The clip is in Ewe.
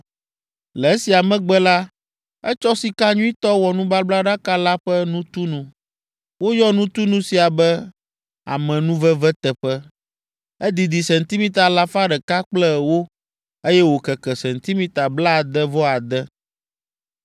Le esia megbe la, etsɔ sika nyuitɔ wɔ nubablaɖaka la ƒe nutunu. Woyɔ nutunu sia be, “Amenuveveteƒe.” Edidi sentimita alafa ɖeka kple ewo, eye wòkeke sentimita blaade-vɔ-ade.